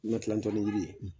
Ni matilatɔnni yiri ye